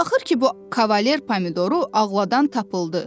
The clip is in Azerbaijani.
Axır ki bu Kavaler Pomidoru ağladan tapıldı.